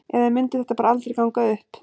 Eða mundi þetta bara aldrei ganga upp?